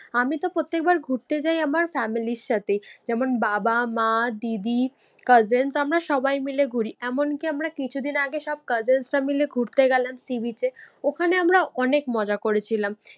আমি তো প্রত্যেকবার ঘুরতে যায় আমার ফ্যামিলির সাথে যেমন বাবা, মা, দিদি, cousin তো আমরা সবাই মিলে ঘুরি। এমনকি আমরা কিছুদিন আগে সব cousins রা মিলে ঘুরতে গেলাম sea beach এ। ওখানে আমরা অনেক মজা করেছিলাম